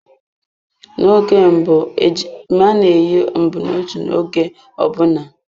Na-oge mbụ ejima na-eyi mbunotu oge ọbụna.